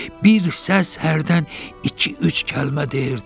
Bir səs hərdən iki-üç kəlmə deyirdi.